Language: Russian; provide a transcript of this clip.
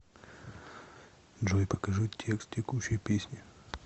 джой покажи текст текущей песни